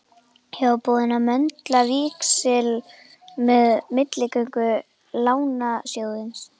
Ég var búinn að möndla víxil með milligöngu Lánasjóðsins.